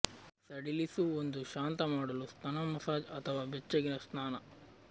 ಸಡಿಲಿಸು ಒಂದು ಶಾಂತ ಮಾಡಲು ಸ್ತನ ಮಸಾಜ್ ಅಥವಾ ಬೆಚ್ಚಗಿನ ಸ್ನಾನ